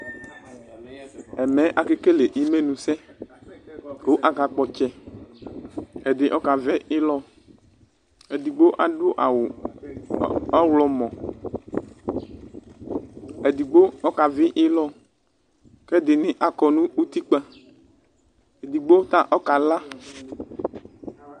Ɛmɛ akekel imenʋsɛ kʋ akakpɔ ɔtsɛ ɛdi ɔkavi ilɔ edigbo di adʋ awʋ ɔwlɔmɔ edigbo ɔkavi ilɔ kʋ ɛdini akɔnʋ utikpa edigbo ta ɔkala